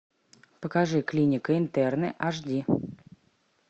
покажи клиника интерны аш ди